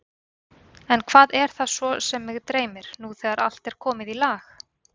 En hvað er það svo sem mig dreymir, nú þegar allt er komið í lag?